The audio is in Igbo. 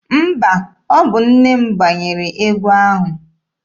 Mba, ọ bụ nne m gbanyere egwu ahụ.